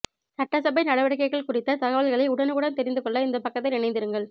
சட்டசபை நடவடிக்கைகள் குறித்த தகவல்களை உடனுக்குடன் தெரிந்துகொள்ள இந்த பக்கத்தில் இணைந்திருங்கள்